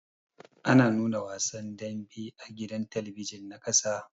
Ana nuna wasan daɓe a gidan talabijin na ƙasa da.